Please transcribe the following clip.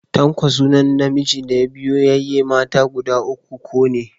Tanko sunan namijin da ya biyo yayye mata guda uku ko ne.